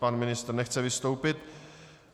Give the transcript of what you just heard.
Pan ministr nechce vystoupit.